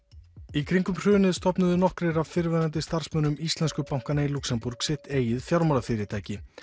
í kringum hrunið stofnuðu nokkrir af fyrrverandi starfsmönnum íslensku bankanna í Luxembourg sitt eigið fjármálafyrirtæki